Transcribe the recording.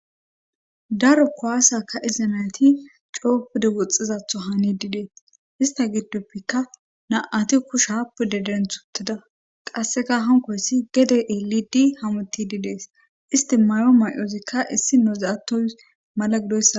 Daro kowaassaka iza nayati coopude woxxizatho haani didees ista giddopfekka naati kushaappu de den tuteda qasseka hankoyssi gede eelidi hamuti didees isti mayo may7oozikka issi nozaattoy mala gidoyssa.